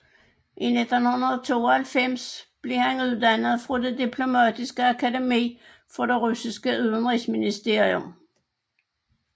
I 1992 blev han uddannet fra det Diplomatiske akademi for det russiske udenrigsministerium